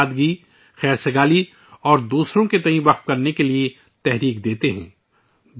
وہ ہمیں سادگی ، ہم آہنگی اور دوسروں کے لیے وقف ہونے کی تحریک دیتے ہیں